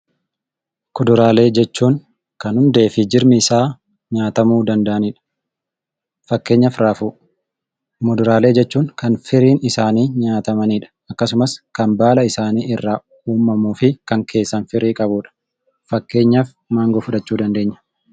Kuduraalee jechuun kan hundee fi hiddi isaanii nyaatamuu danda'anidha.. Fakkeenyaaf raafuu. Muduraalee jechuun kan firiin isaanii nyaatamanidha. Akkasumas kan baala isaanii irraa uummamuu fi kan keessa firii qabudha. Fakkeenyaaf maangoo fudhachuu dandeenya.